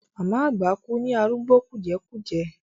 Màmá àgbà kú ní arúgbó kùjẹ́kùjẹ́.